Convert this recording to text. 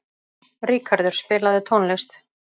Ríkarður, spilaðu tónlist.